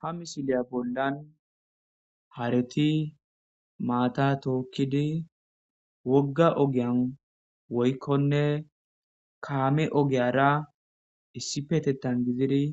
ha misiliya bollan hareti maata tookkidi wogga ogiyan woykkonne kaame ogiyara issi petettan gizidi